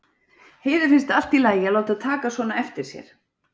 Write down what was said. Heiðu finnst allt í lagi að láta taka svona eftir sér.